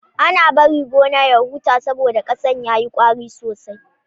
Ana bari gona ya huta saboda ƙasan ya yi ƙwari sosai.